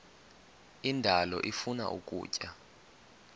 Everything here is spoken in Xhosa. indalo ifuna ukutya